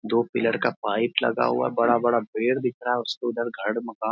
दो पिलर का पाइप लगा हुआ है बड़ा-बड़ा पेड़ दिख रहा हैं उसके उधर घर मकान ।